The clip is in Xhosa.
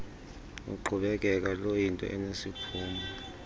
luqhubekeka luyinto enesiphumo